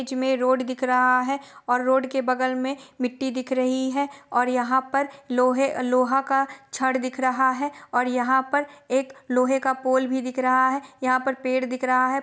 इजमे road दिख रहा है और रोड के बगल में मिट्टी दिख रही है और यहाँ पर लोहे अ लोहा का छड़ दिख रहा है और यहाँ पर एक लोहे का पोल भी दिख रहा है यहाँ पर पेड़ दिख रहा है।